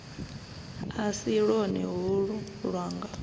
a si lwone holu lwanga